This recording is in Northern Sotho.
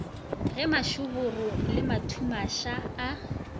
ge mašoboro le mathumaša a